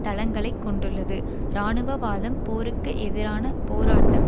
தளங்களை கொண்டுள்ளது இராணுவவாதம் போருக்கு எதிரான போராட்டம்